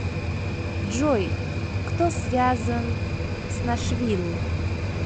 джой кто связан с нашвилл